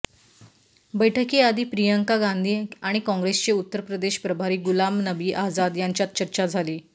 बैठकीआधी प्रियंका गांधी आणि काँग्रेसचे उत्तरप्रदेश प्रभारी गुलाम नबी आझाद यांच्यात चर्चा झाली